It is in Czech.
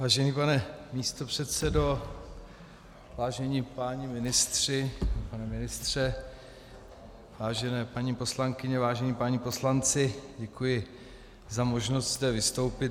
Vážený pane místopředsedo, vážení páni ministři, pane ministře, vážené paní poslankyně, vážení páni poslanci, děkuji za možnost zde vystoupit.